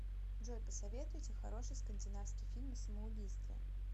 джой посоветуйте хороший скандинавский фильм о самоубийстве